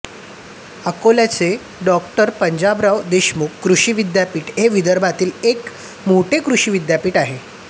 अकोल्याचे डॉ पंजाबराव देशमुख कृषी विद्यापीठ हे विदर्भातील एक मोठे कृषी विद्यापीठ आहे